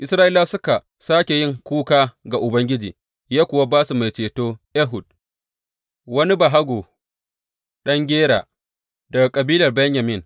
Isra’ilawa suka sāke yin kuka ga Ubangiji, ya kuwa ba su mai ceto, Ehud, wani bahago, ɗan Gera daga kabilar Benyamin.